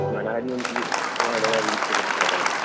മണാലി എനിക്ക് വളരേ അധികം ഇഷ്ടപെട്ട ഒരു സ്ഥലമാണ്